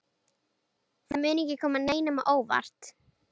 Það mun ekki koma neinum á óvart.